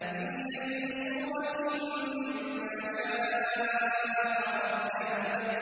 فِي أَيِّ صُورَةٍ مَّا شَاءَ رَكَّبَكَ